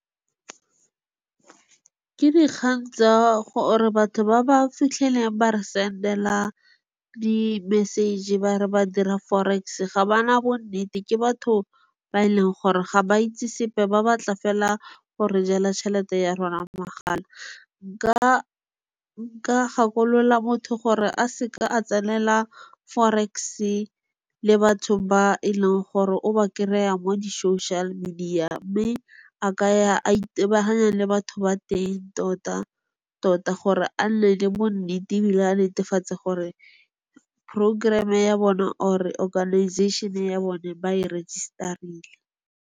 Ke di kgang tsa gore batho ba ba fitlhelang ba re send-ela di message-e ba re ba dira Forex-e ga bana bonnete. Ke batho ba e leng gore ga ba itse sepe ba ba tla fela gore jela tšhelete ya rona magala. Nka gakolola motho gore a seka a tsenela Forex-e le batho ba e leng gore o ba kry-a mo di-social-media. Mme a ka ya a itebaganya le batho ba teng tota-tota gore a nne le bo nnete ebile a netefatse gore programme-e ya bone or-e organization-e ya bone ba e register-rile.